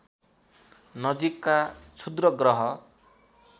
नजिकका क्षुद्र ग्रह